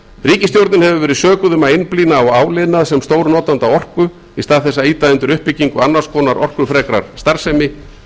ríkisstjórnin hefur verið sökuð um að einblína á áliðnað sem stórnotanda raforku í stað þess að ýta undir uppbyggingu annars konar orkufrekrar starfsemi